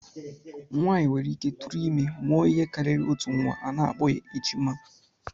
Nwaanyị nwereike tụrụ ime, mụọ ihe karịrị otu nnwa, a na-akpọ ha ejima